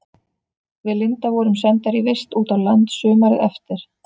Við Linda vorum sendar í vist út á land sumarið eftir.